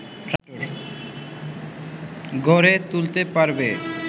গড়ে তুলতে পারবে